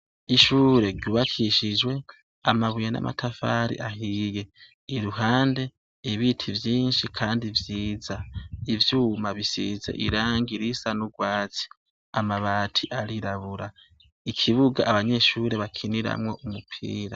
Ishure ryubakishijwe amabuye namatafari ahiye iruhande ibiti vyinshi kandi vyiza ivyuma bisize irangi risa nurwatsi amabati arirabura ikibuga abanyeshure bakiniramwo umupira